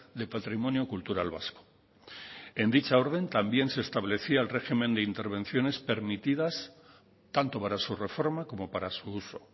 de patrimonio cultural vasco en dicha orden también se establecía el régimen de intervenciones permitidas tanto para su reforma como para su uso